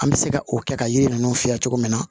An bɛ se ka o kɛ ka yiri ninnu fiyɛ cogo min na